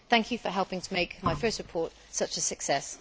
thank you for helping to make my first report such a success.